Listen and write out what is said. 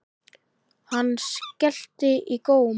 Hann skellti í góm.